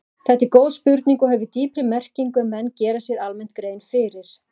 Þetta er góð spurning og hefur dýpri merkingu en menn gera sér almennt grein fyrir.